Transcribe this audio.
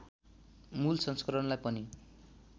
मूल संस्करणलाई पनि